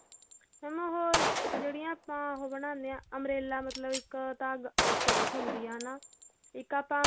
mam ਉਹ ਜਿਹੜੀਆਂ ਆਪਾਂ ਉਹ ਬਣਾਉਣੇ ਆਂ umbrella ਮਤਲਬ ਇੱਕ ਤਾਂ ਆ frock ਹੁੰਦੀ ਆ ਹਨਾ ਇੱਕ ਆਪਾਂ